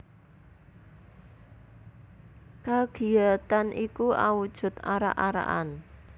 Kagiyatan iku awujud arak arakan